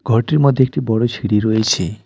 ঘরটির মধ্যে একটি বড় সিঁড়ি রয়েছে।